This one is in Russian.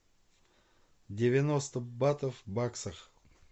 девяносто батов в баксах